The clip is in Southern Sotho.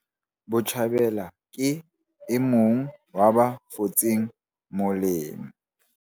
Botjhabela ke e mong wa ba fotseng molemo.